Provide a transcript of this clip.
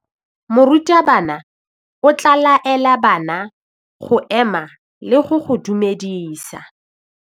Morutabana o tla laela bana go ema le go go dumedisa.